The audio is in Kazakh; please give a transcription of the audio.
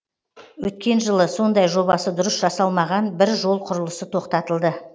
өткен жылы сондай жобасы дұрыс жасалмаған бір жол құрылысы тоқтатылды